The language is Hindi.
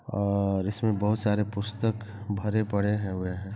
--और इसमें बहुत सारे पुस्तक भरे पड़े हुए है।